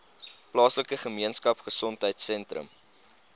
plaaslike gemeenskapgesondheid sentrum